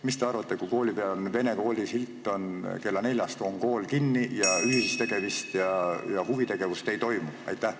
Mis te arvate sellest, kui vene kooli uksel on silt, et kella neljast on kool kinni ning ühist tegutsemist ja huvitegevust ei toimu?